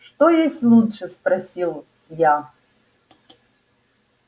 что есть лучшее спросил я